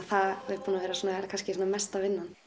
það er búið að vera mesta vinnan